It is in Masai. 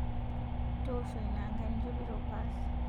Itoosho inia aanga ninjopito paas